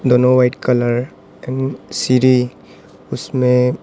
दोनों white colour एवं सीढ़ी उसमे--